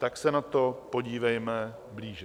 Tak se na to podívejme blíže.